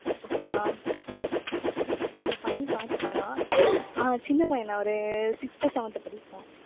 okay வா. அந்த பையன் பாட்டு பாடுவான். ஆஹ் சின்னப் பையன்தான் ஒரு sixth ஓ seventh ஓ படிப்பான்.